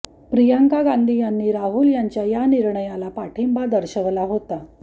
प्रियंका गांधी यांनी राहुल यांच्या या निर्णयाला पाठिंबा दर्शवला होता